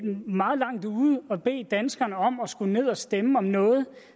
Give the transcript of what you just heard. meget langt ude at bede danskerne om at skulle ned og stemme om noget